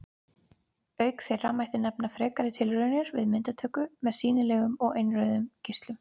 Auk þeirra mætti nefna frekari tilraunir við myndatöku með sýnilegum og innrauðum geislum.